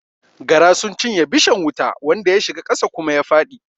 Gara sun cinye bishan wuta wanda ya shiga ƙasa kuma ya faɗi